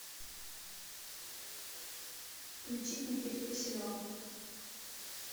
включить никиту киселева